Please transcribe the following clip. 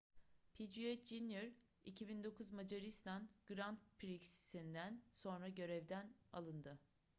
piquet jr 2009 macaristan grand prix'sinden sonra görevden alındı